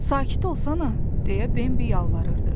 Sakit ol sana deyə Bəbi yalvarırdı.